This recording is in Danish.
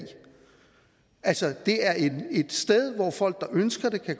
altså det er et sted hvor folk der ønsker det